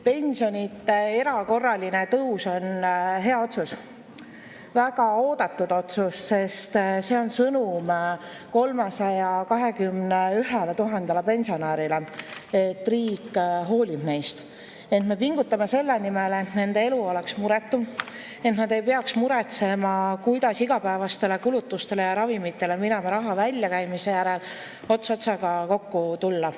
Pensionide erakorraline tõus on hea otsus, väga oodatud otsus, sest see on sõnum 321 000 pensionärile, et riik hoolib neist, et me pingutame selle nimel, et nende elu oleks muretum, et nad ei peaks muretsema, kuidas igapäevastele kulutustele ja ravimitele mineva raha väljakäimise järel ots otsaga kokku tulla.